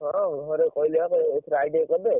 ଘରେ ହଁ ଘରେ କହିଲେ ବା ଏଇଥର ITI କରିଦେ।